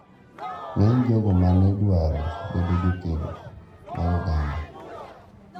Ng`eny jogo ma ne dwaro bedo jokedo mag oganda,